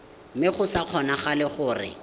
mme go sa kgonagale gore